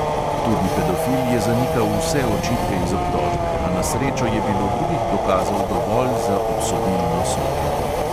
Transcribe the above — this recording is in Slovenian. Tudi pedofil je zanikal vse očitke iz obtožbe, a na srečo je bilo drugih dokazov dovolj za obsodilno sodbo.